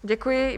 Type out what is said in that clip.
Děkuji.